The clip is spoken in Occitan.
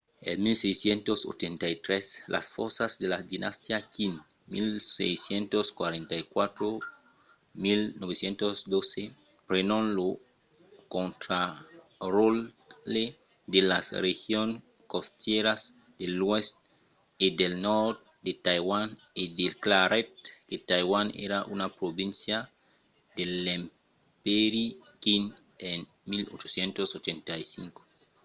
en 1683 las fòrças de la dinastia qing 1644-1912 prenon lo contraròtle de las regions costièras de l'oèst e del nòrd de taiwan e declarèt que taiwan èra una província de l'empèri qing en 1885